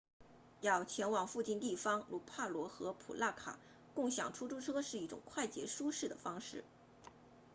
要前往附近地方如帕罗 nu 150和普那卡 nu 200共享出租车是一种快捷舒适的方式